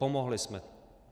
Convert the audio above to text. Pomohli jsme.